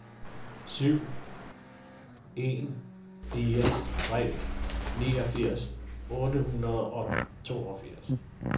syv en fire tre niogfirs otte hundrede og toogfirs